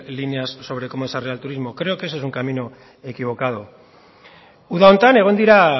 líneas de cómo desarrollar el turismo creo que ese es un camino equivocado uda honetan egon dira